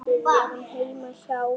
Við vorum heima hjá Huldu.